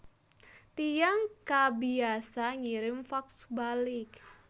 Tiyang kabiasa ngirim fax balik